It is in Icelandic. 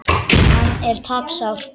Hann er tapsár.